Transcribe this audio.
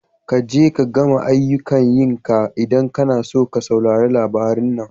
Kaje ka gama aiyukan yi ka idan kana so ka saurari labari na.